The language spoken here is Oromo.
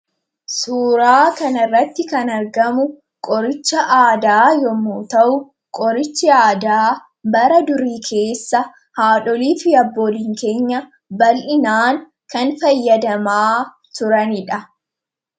suuraa kan irratti kan argamu qorichi aadaa yommu ta'u qorichi aadaa bara durii keessa haadholii fi abboolin keenya bal'inaan kan fayyadamaa turaniidha